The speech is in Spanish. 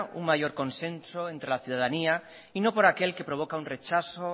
un mayor consenso entre la ciudadanía y no por aquel que provoca un rechazo